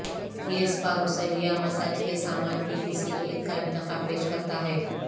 یہ سپا غسل یا مساج کے سامان کی کسی ایک کا انتخاب پیش کرتا ہے